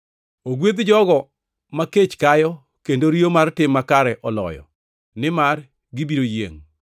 Ogwedh jogo makech kayo kendo riyo mar tim makare oloyo, nimar gibiro yiengʼ.